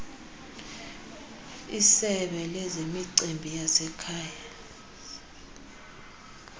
isebe lezemicimbi yasekhaya